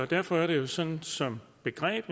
derfor er det jo sådan som begreb at